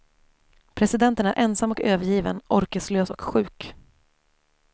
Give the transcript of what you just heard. Presidenten är ensam och övergiven, orkeslös och sjuk.